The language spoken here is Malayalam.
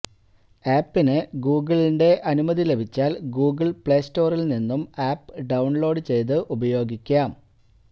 ആപ്പിന് ഗൂഗിളിന്റെ അനുമതി ലഭിച്ചാൽ ഗൂഗിൾ പ്ലേ സ്റ്റോറിൽ നിന്നും ആപ് ഡൌൺലോഡ് ചെയ്ത് ഉപയോഗിക്കാം